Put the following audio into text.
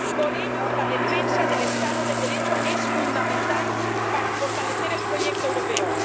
Por ello, la defensa del Estado de Derecho es fundamental para fortalecer el proyecto europeo.